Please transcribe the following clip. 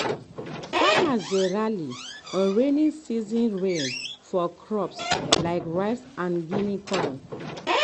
farmers dey rely on rainy season rain for crops like rice and guinea corn.